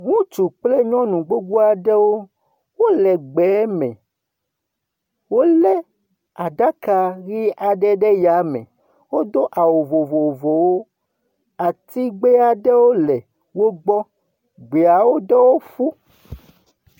Ŋutsu kple nyɔnu gbogbo aɖewo wole gbe me. Wole aɖaka ʋi aɖe ɖe ya me. Wodo awu vovovowo. Atigbe aɖe vovovowo le wogbɔ. Gbeawo do fũu.